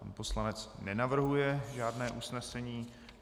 Pan poslanec nenavrhuje žádné usnesení.